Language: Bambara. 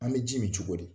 An bɛ ji min cogo di